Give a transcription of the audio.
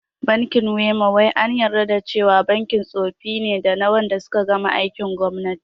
Bankin WEMA wai an yarda da cewa bankin tsofi ne dana wanda suka gama aikin gwamnati